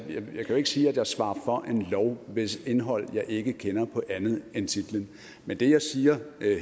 jo ikke sige at jeg svarer for en lov hvis indhold jeg ikke kender på andet end titlen men det jeg siger